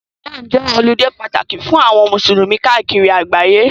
Ramadani jẹ́ ọludé pàtàkì fún àwọn musulumi káàkiri àgbáyé.